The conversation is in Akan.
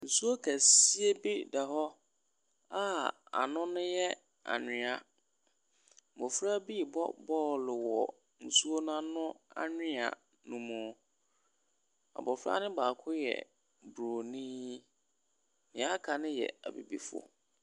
Nsuo kɛseɛ bi da hɔ a ano no yɛ anwea, mmɔfra bi rebɔ bɔɔlo wɔ nsuo no ano anwea ne mu. Abɔfra no baako yɛ bronin, deɛ aka no yɛ abibifoɔ.